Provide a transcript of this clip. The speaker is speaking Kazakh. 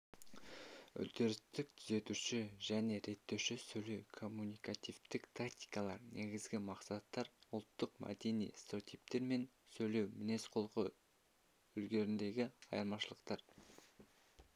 үдерістік-түзетуші және реттеуші сөйлеу-коммуникативтік тактикалар негізгі мақсаттар ұлттық-мәдени стереотиптер мен сөйлеу мінез-құлқы үлгілеріндегі айырмашылықтар